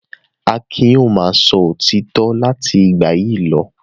Akin yóò máa sọ òtítọ́ láti ìgbà yìí lọ.